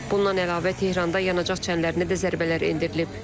Bundan əlavə Tehranda yanacaq çənlərinə də zərbələr endirilib.